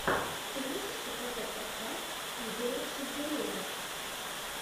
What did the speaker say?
ты можешь показать подкаст игоря шинкарева